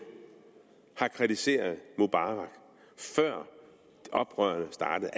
har kritiseret mubarak før oprørene startede